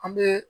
A bɛ